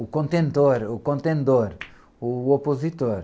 o contendor, o contendor, o opositor.